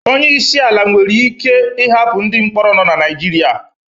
Onye isi ala nwere ike ịhapụ ndị mkpọrọ nọ na Naịjirịa